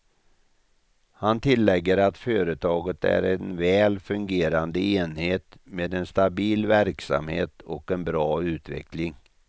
Han tillägger att företaget är en väl fungerande enhet med en stabil verksamhet och en bra utveckling.